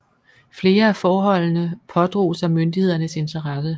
Flere af forholdene pådrog sig myndighedernes interesse